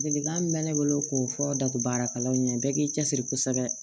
Ladilikan min bɛ ne bolo k'o fɔ datugu baarakɛlaw ɲɛ bɛɛ k'i cɛsiri kosɛbɛ